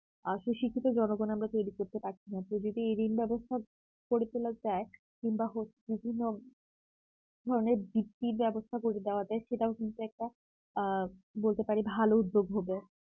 আসল শিক্ষিত জনগণ আমরা তৈরি করতে পারছি না কেউ যদি এই ঋণ ব্যবস্থা কিংবা হচ্ছে বিভিন্ন ধরনের বৃত্তি ব্যবস্থা করে দেওয়া যায় সেটাও কিন্তু একটা আ বলতে পারেন ভালো উদ্যোগ হতো